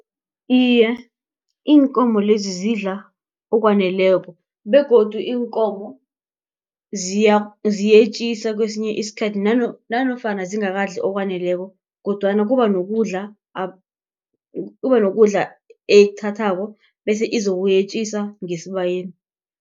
Iye, iinkomo lezi zidla okwaneleko begodu iinkomo ziyetjisa kwesinye isikhathi nanofana zingakadli okwaneleko kodwana kuba nokudla kuba nokudla ekuthathako bese izokuyetjisa ngesibayeni.